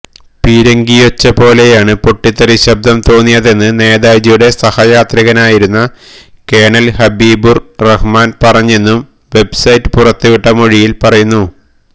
പീരങ്കിയൊച്ച പോലെയാണ് പൊട്ടിത്തെറി ശബ്ദം തോന്നിയതെന്ന് നേതാജിയുടെ സഹയാത്രികനായിരുന്ന കേണല് ഹബീബുര് റഹ്മാന് പറഞ്ഞെന്നും വെബ്സൈറ്റ് പുറത്തുവിട്ട മൊഴിയില് പറയുന്നു